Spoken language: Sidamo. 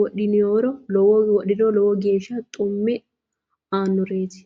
wodhiniro lowo geeshsha xumme aannoreeti.